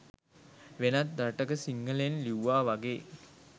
වෙනත් රටක සිංහලෙන් ලිව්වා වගේ